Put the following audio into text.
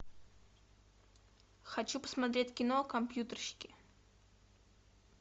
хочу посмотреть кино компьютерщики